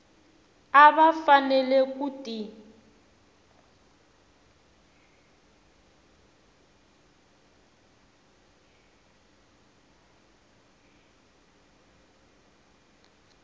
a va fanele ku ti